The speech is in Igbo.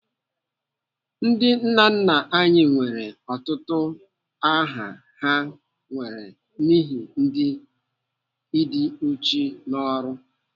Ndị nna nna anyị nwere ọtụtụ utu aha ha nwere n'ihi ịdị uchu n'ọrụ.